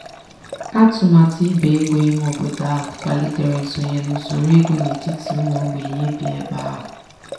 atụmatụ igbe ego ime obodo ahụ kwalitere nsonye n'usoro ego n'etiti ụmụ ogbenye bi ebe ahụ.